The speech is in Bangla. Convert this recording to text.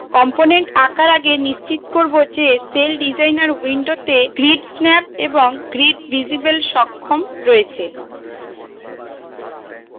component আঁকার আগে নিশ্চিত করব যে celldesigner window grid snap এবং grid visible সক্ষম রয়েছে